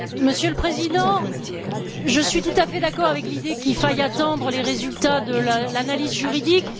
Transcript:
Monsieur le Président, je suis tout à fait d'accord avec l'idée qu'il faille attendre les résultats de l'analyse juridique.